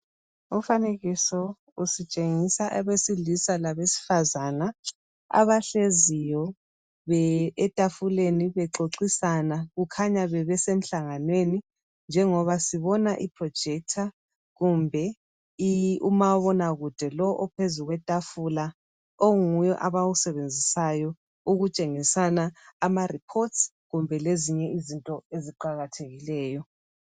Umfanekiso usitshengisa abesilisa labesifazana abahleziyo etafuleni bexoxisana. Kukhanya bebesemhlanganweni njengoba sibona iprojector kumbe umabonakude lo ophezulu kwetafula onguye abawusebenzisayo ukutshengisana amareports kumbe lezinye izinto eziqakathekileyo.